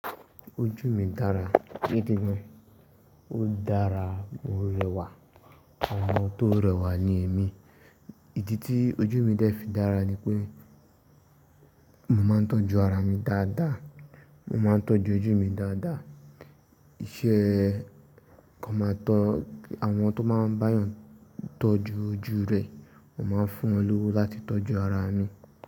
Ojú mi dára, gidi gan. Ó dára, mo rẹwà, àwọn tó rẹwà ni èmi. Ìdí tí ojú mi dẹ́ fi dára ni pé mo máa ń tọ́jú ara mi dáadáa, mo máa ń tọ́jú ojú mi dáadáa. Iṣẹ́ kan máa tọ́, àwọn tó máa ń bá èèyàn tọ́jú ojú rẹ̀, mo máa ń fún wọn lówó láti tọ́jú ara mi.